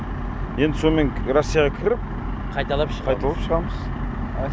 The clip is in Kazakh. енді сонымен россияға кіріп қайталап шығамыз